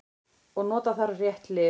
Og nota þarf rétt lyf.